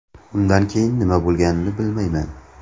Undan keyin nima bo‘lganini bilmayman.